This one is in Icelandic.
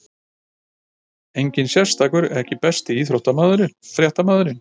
Enginn sérstakur EKKI besti íþróttafréttamaðurinn?